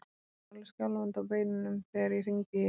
Ég var alveg skjálfandi á beinunum þegar ég hringdi í ykkur.